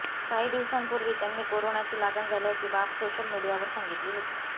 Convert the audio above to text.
काही दिवसांपूर्वी त्यांनी कोरोनाची लागण झाल्याची बाब सोशल मीडियावर सांगितली होती